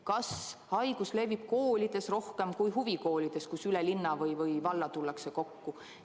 Kas haigus levib koolides rohkem kui huvikoolides, kuhu üle linna või valla tullakse kokku?